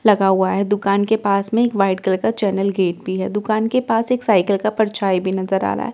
लगा हुआ है दुकान के पास में एक वाइट कलर का चैनल गेट भी है दुकान के पास एक साइकिल का परछाई भी नजर आ रहा है।